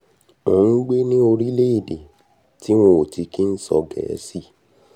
mò ń gbé ní orílẹ̀-èdè tí wọn ò ti kí ń sọ gẹ̀ẹ́sì